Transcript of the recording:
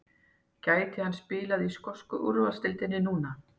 Gæti hann spilað í skosku úrvalsdeildinni núna?